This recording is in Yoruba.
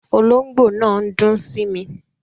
Olóngbò náà n dún sími